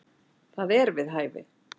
Það er við hæfi.